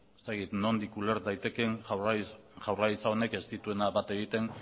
ez dakit nondik uler daitekeen jaurlaritza honek ez duela bat egiten